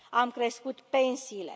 Am crescut pensiile.